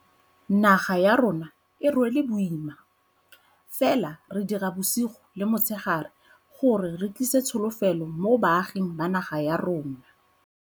Naga ya rona e rwele boima, fela re dira bosigo le motshegare gore re tlise tsholofelo mo baaging ba naga ya rona.